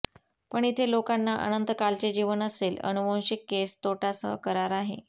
पण इथे लोकांना अनंतकालचे जीवन असेल आनुवंशिक केस तोटा सह करार आहे